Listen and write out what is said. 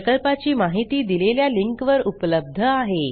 प्रकल्पाची माहिती दिलेल्या लिंकवर उपलब्ध आहे